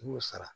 I y'o sara